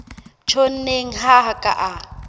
tjhonneng ha a ka a